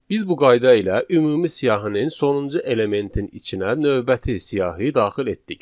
Biz bu qayda ilə ümumi siyahının sonuncu elementin içinə növbəti siyahı daxil etdik.